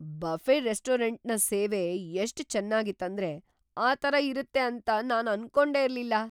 Buffett ರೆಸ್ಟೋರೆಂಟ್ನ ಸೇವೆ ಎಷ್ಟ್ ಚೇನ್ನಾಗಿತ್ ಅಂದ್ರೆ ಆ ತರ ಇರುತ್ತೆ ಅಂತ ನಾನ್ ಅನ್ಕೊಂಡೆ ಇರ್ಲಿಲ್ಲ.